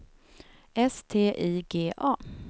S T I G A